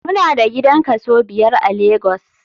Mu na da gidan kaso biyar a lagos.